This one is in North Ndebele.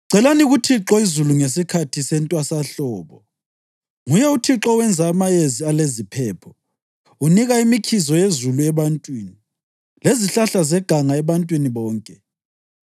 Celani kuThixo izulu ngesikhathi sentwasahlobo; nguye uThixo owenza amayezi aleziphepho. Unika imikhizo yezulu ebantwini, lezihlahla zeganga ebantwini bonke.